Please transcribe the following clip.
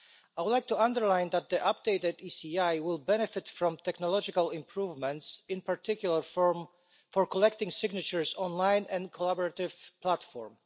I would like to underline that the updated ECI will benefit from technological improvements, in particular for collecting signatures online and a collaborative platform.